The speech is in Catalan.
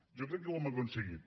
jo crec que ho hem aconseguit